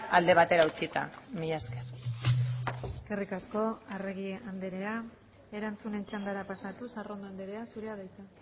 alde batera utzita mila esker eskerrik asko arregi andrea erantzunen txandara pasatuz arrondo andrea zurea da hitza